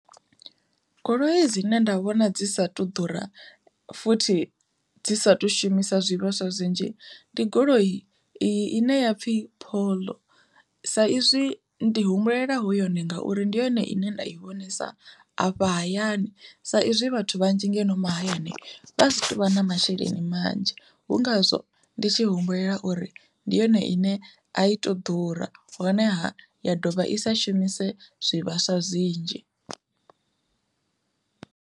Goloi dzine nda vhona dzi sa tu ḓura futhi dzi sathu shumisa zwivhaswa zwinzhi, ndi goloi ine ya pfhi Polo, sa izwi ndi humbulela hu yone ngauri ndi yone ine nda i vhonesa afha hayani sa izwi vhathu vhanzhi ngeno mahayani vha si tovha na masheleni manzhi hu ngazwo ndi tshi humbulela uri ndi yone ine a i to ḓura honeha ya ḓovha ya sa shumise zwivhaswa zwinzhi.